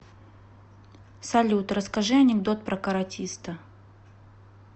салют расскажи анекдот про каратиста